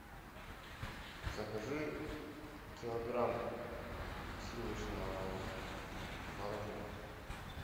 закажи килограмм сливочного мороженого